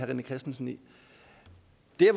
de